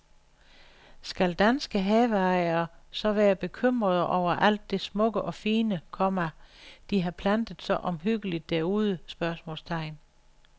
Skal danske haveejere så være bekymrede over alt det smukke og fine, komma de har plantet så omhyggeligt derude? spørgsmålstegn